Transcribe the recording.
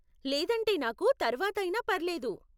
లేదంటే నాకు తర్వాత అయినా పర్లేదు.